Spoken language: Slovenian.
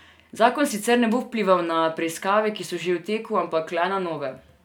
Zakon sicer ne bo vplival na preiskave, ki so že v teku, ampak le na nove.